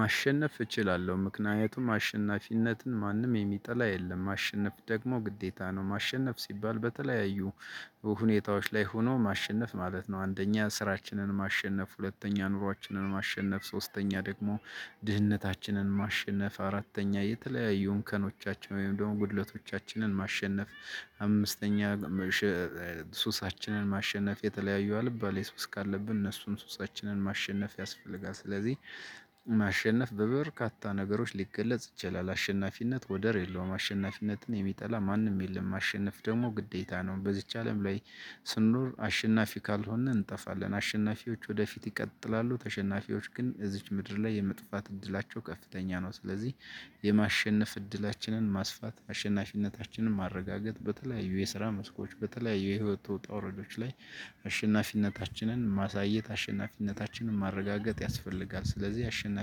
ማሸነፍ እችላለሁ ምክንያቱም አሸናፊነትን ማንም የሚጠላ የለም። ማሸነፍ ደግሞ ግዴታ ነው ማሸነፍ ሲባል በተለያዩ ሁኔታዎች ላይ ሆኖ ማሸነፍ ማለት ነው። አንደኛ ስራችንን ማሸነፍ ሁለተኛ ኑሮአችንን ማሸነፍ ሶስተኛ ደግሞ ድህነታችንን ማሸነፍ አራተኛ የተለያዩ እንከኖቻችን ወይም ደግሞ ጉድለቶቻችንን ማሸነፍ። አምስተኛ ሱሳችንን ማሸነፍ የተለያዩ አልባሌ ሱስ ካለብን እነሱን ሱሳችንን ማሸነፍ ያስፈልጋል። ስለዚህ ማሸነፍ በበርካታ ነገሮች ሊገለጽ ይችላል። አሸናፊነት ወደር የለውም አሸናፊነትን የሚጠላ ማንም የለም። ማሸነፍ ደግሞ ግዴታ ነው። በዚች አለም ላይ ስንኖር አሸናፊ ካልሆንን እንጠፋለን። አሸናፊዎች ወደፊት ይቀጥላሉ ተሸናፊዎች ግን እዚች ምድር ላይ የመጥፋት እድላቸው ከፍተኛ ነው። ስለዚህ የማሸነፍ እድላችንን ማስፋት አሸናፊነታችንን ማረጋገጥ በተለያዩ የስራ መስኮች በተለያዩ የህይወት ውጣ ውረዶች ላይ አሸናፊነታችንን ማሳየት አሸናፊነታችንን ማረጋገጥ ያስፈልጋል። ስለዚህ አሸናፊነት